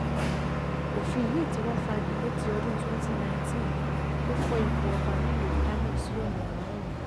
òfin yìí tí wàá fagi lé ti ọdún cs] twenty nineteen tó fọ ipò ọba nílùú kánò sí ọ̀nà márùn-ún